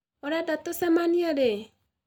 Ũrenda tũcemanie rĩ?